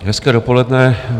Hezké dopoledne.